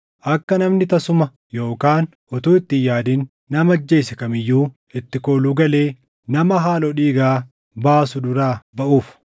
kunis akka namni tasuma yookaan utuu itti hin yaadin nama ajjeese kam iyyuu itti kooluu galee nama haaloo dhiigaa baasu duraa baʼuuf.